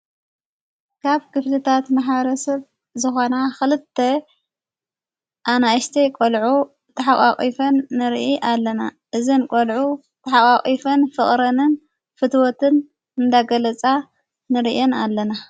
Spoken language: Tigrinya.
ካብ ክፍትታት መሓረሰብ ዝኾና ኽልተ ኣናእሽተ ቈልዑ ተሕዋፎን ንርኢ ኣለና እዘን ቈልዑ ተሓዋቝፍን ፍቕረንን ፍትወትን እንዳገለጻ ንርእን ኣለና።